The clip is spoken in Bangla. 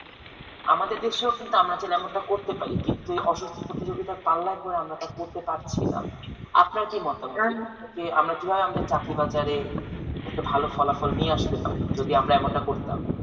আমাদের দৃশ্য কিন্তু আমরা করতে পারি কিন্তু অসুস্থ প্রতিযোগিতা পাল্লায় পড়ে আমরা তা করতে পারছি না আপনার কি মতামত যে আমরা কিভাবে আমাদের চাকরি বাজারে একটু ভালো ফলাফল নিয়ে আসতে পারি যদি আমরা এমনটা করতাম।